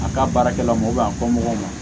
A ka baarakɛlaw a fɔ mɔgɔw ma